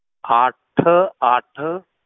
ਅੱਠ ਅੱਠ,